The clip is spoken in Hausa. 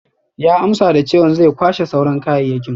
Ya amsa da chewan zai kwashe sauran kayayyaki.